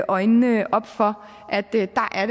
øjnene op for at det